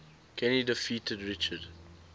kenny defeated richard